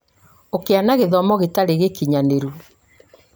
ũkĩa na gĩthomo gĩtarĩ gĩkinyanĩru